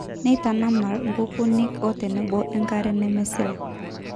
neitanamal inkukunik otenebo enkare nemesila.